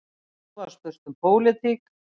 Svo var spurt um pólitík.